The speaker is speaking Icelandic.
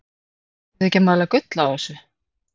Eruð þið ekki að mala gull á þessu?